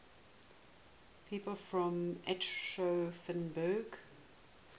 people from aschaffenburg